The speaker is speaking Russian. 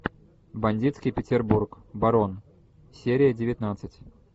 бандитский петербург барон серия девятнадцать